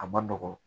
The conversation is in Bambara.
A ma nɔgɔn